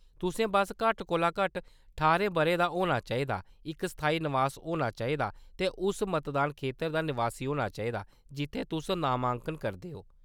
तुसें बस्स घट्ट कोला घट्ट ठारें बʼरें दा होना चाहिदा, इक स्थाई नवास होना चाहिदा, ते उस मतदान खेतर दा नवासी होना चाहिदा जित्थै तुस नामांकन करदे ओ।